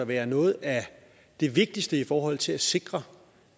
være noget af det vigtigste i forhold til at sikre